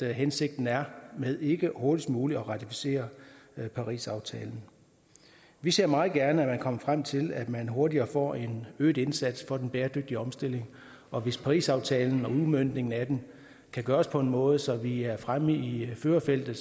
hensigten er med ikke hurtigst muligt at ratificere parisaftalen vi ser meget gerne at man kommer frem til at man hurtigere får en øget indsats for den bæredygtige omstilling og hvis parisaftalen og udmøntningen af den kan gøres på en måde så vi er fremme i førerfeltet